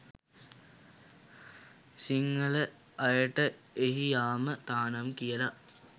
සිංහල අයට එහි යාම තහනම් කියල